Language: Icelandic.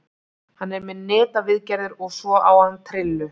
Hann er með netaviðgerðir og svo á hann trillu.